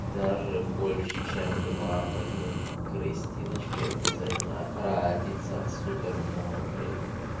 даже больше чем два поэтому у кристиночки обязательно родится супер мужик